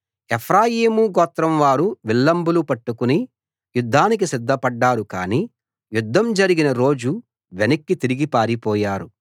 ఎఫ్రాయిము గోత్రం వారు విల్లంబులు పట్టుకుని యుద్ధానికి సిద్ధపడ్డారు కానీ యుద్ధం జరిగిన రోజు వెనక్కి తిరిగి పారిపోయారు